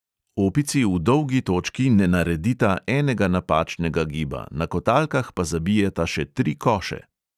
Opici v dolgi točki ne naredita enega napačnega giba, na kotalkah pa zabijeta še tri koše.